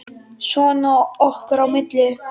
Svona okkar á milli.